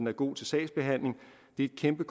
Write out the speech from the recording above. er god til sagsbehandling det er et kæmpe